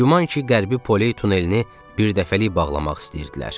Güman ki, Qərbi Poley tunelini birdəfəlik bağlamaq istəyirdilər.